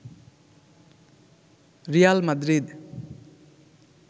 Real Madrid